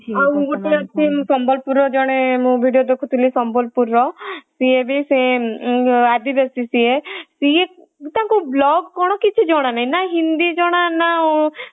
ଆଉ ଗୋଟେ ସେ ସମ୍ବଲପୁରର ଜଣେ ମୁଁ video ଦେଖୁଥିଲି ସମ୍ବଲପୁରର ସେ ଏବେ ସେ ଆଦିବାସୀ ସେ ସେ ତାଙ୍କୁ vlog କ'ଣ କିଛି ଜଣ ନାହିଁ। ନା ହିନ୍ଦୀ ଜଣା ନା